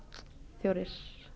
fjórir